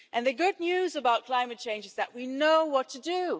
And the good news about climate change is that we know what to do